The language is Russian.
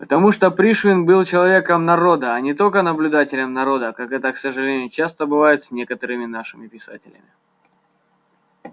потому что пришвин был человеком народа а не только наблюдателем народа как это к сожалению часто бывает с некоторыми нашими писателями